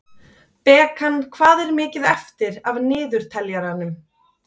Bekan, hvað er mikið eftir af niðurteljaranum?